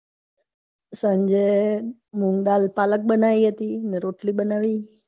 સાંજે મુંગદાળ પાલખ બનાવી હતી અને રોટલી બના‌વી